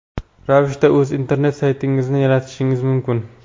ravishda o‘z internet saytingizni yaratishingiz mumkin.